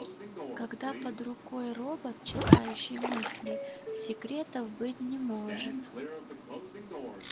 когда под рукой робот читающий мысли секретов быть не может